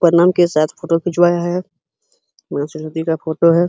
परनाम के साथ फोटो खिंचवाया है। मां सरस्वती का फोटो है।